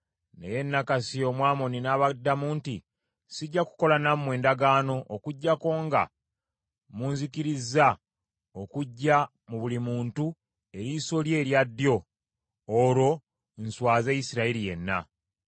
Naye Nakkasi Omwamoni n’abaddamu nti, “Sijja kukola nammwe ndagaano okuggyako nga munzikirizza okuggya mu buli muntu, eriiso lye erya ddyo, olwo nswaze Isirayiri yenna.”